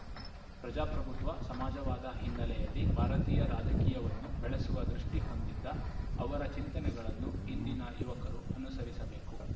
ಪ್ರಜಾಪ್ರಭುತ್ವ ಸಮಾಜವಾದ ಹಿನ್ನೆಲೆಯಲ್ಲಿ ಭಾರತೀಯ ರಾಜಕೀಯವನ್ನು ಬೆಳೆಸುವ ದೃಷ್ಟಿಹೊಂದಿದ್ದ ಅವರ ಚಿಂತನೆಗಳನ್ನು ಇಂದಿನ ಯುವಕರು ಅನುಸರಿಸಬೇಕು